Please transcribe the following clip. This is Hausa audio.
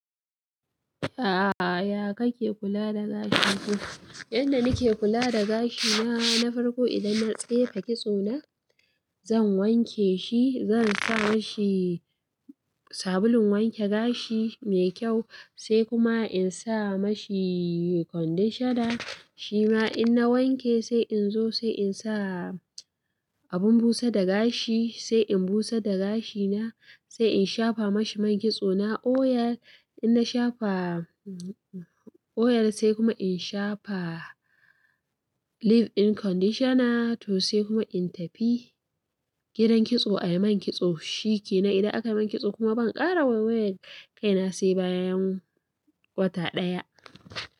A'a, ya kake kula da gashi? Yanda nake kula da gashina, na farko idan na tsefe kitso na, zan wanke shi, zan sa mashi sabulun wanke gashi mai kyau sai kuma in sa mashi conditioner shi ma in na wanke sai in zo sai in sa abun busa da gashi sai in busar da gashina sai in shafa mashi man kitso na oil. In na shafa oil sai kuma in shafa leave-in conditioner to sai kuma in tafi gidan kitso a yi man kitso. Shi ke nan idan aka yi man kitso kuma ban ƙara wayewar kaina sai bayan wata ɗaya.